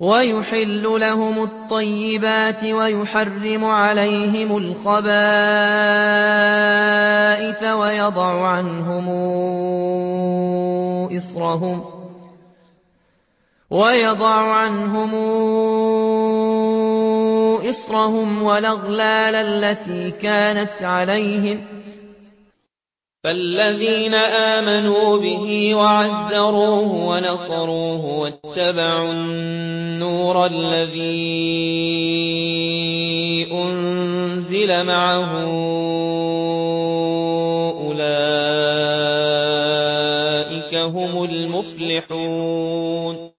وَيُحِلُّ لَهُمُ الطَّيِّبَاتِ وَيُحَرِّمُ عَلَيْهِمُ الْخَبَائِثَ وَيَضَعُ عَنْهُمْ إِصْرَهُمْ وَالْأَغْلَالَ الَّتِي كَانَتْ عَلَيْهِمْ ۚ فَالَّذِينَ آمَنُوا بِهِ وَعَزَّرُوهُ وَنَصَرُوهُ وَاتَّبَعُوا النُّورَ الَّذِي أُنزِلَ مَعَهُ ۙ أُولَٰئِكَ هُمُ الْمُفْلِحُونَ